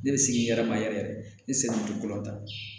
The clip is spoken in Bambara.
Ne bɛ sigi n yɛrɛ ma yɛrɛ n sen kɔrɔ